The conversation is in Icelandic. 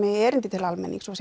erindi til almennings og